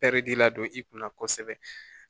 Pɛridi la don i kunna kosɛbɛ